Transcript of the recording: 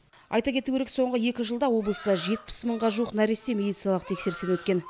айта кету керек соңғы екі жылда облыста жетпіс мыңға жуық нәресте медициналық тексерістен өткен